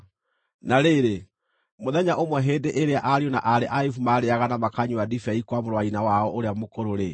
Na rĩrĩ, mũthenya ũmwe hĩndĩ ĩrĩa ariũ na aarĩ a Ayubu maarĩĩaga na makanyua ndibei kwa mũrũ wa nyina wao ũrĩa mũkũrũ-rĩ,